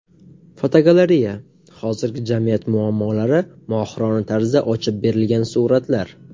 Fotogalereya: Hozirgi jamiyat muammolari mohirona tarzda ochib berilgan suratlar.